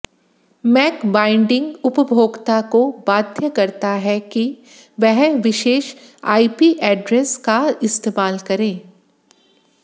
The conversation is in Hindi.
मैक बाइंडिंग उपभोक्ता को बाध्य करता है कि वह विशेष आईपी एड्रेस का इस्तेमाल करें